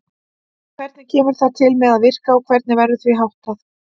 Hvernig kemur það til með að virka og hvernig verður því háttað?